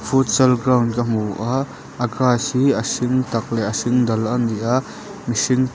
futsal ground ka hmu a a grass hi a hring tak leh a hring dal ani a mihring--